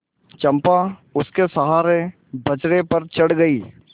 चंपा उसके सहारे बजरे पर चढ़ गई